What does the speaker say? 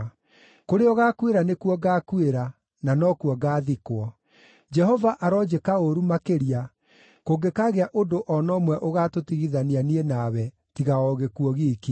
Kũrĩa ũgaakuĩra nĩkuo ngaakuĩra, na nokuo ngaathikwo. Jehova aronjĩka ũũru makĩria, kũngĩkaagĩa ũndũ o na ũmwe ũgaatũtigithania niĩ nawe, tiga o gĩkuũ giiki!”